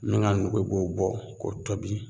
Min ga nugu i b'o bɔ k'o tobi